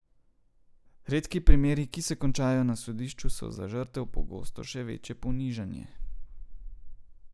Redki primeri, ki se končajo na sodišču so za žrtev pogosto še večje ponižanje.